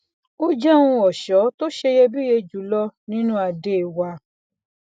ó jẹ ohun ọṣọ tó ṣeyebíye jù lọ nínú ade wa